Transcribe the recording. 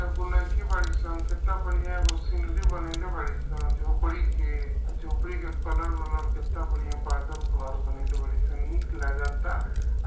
कई गो लड़की बाड़ी सन। केतना बढ़िया एगो सीनरी बनइले बाड़ी सन। झोपड़ी के झोंपड़ी के कलर ओलर केतना बढ़िया बा। बादल घर बनइले बाड़ी सन। नीक लगता अ --